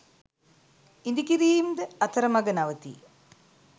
ඉඳිකිරීම් ද අතර මග නවතී